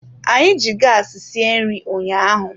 Anyị ji gaasi sie nri ụnyaahụ.